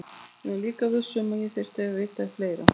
Ég var líka viss um að ég þyrfti að vita fleira.